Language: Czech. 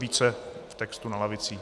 Více v textu na lavicích.